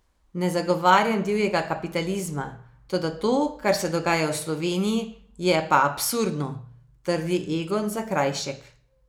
Ne zagovarjam divjega kapitalizma, toda to, kar se dogaja v Sloveniji, je pa absurdno, trdi Egon Zakrajšek.